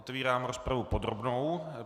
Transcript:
Otevírám rozpravu podrobnou.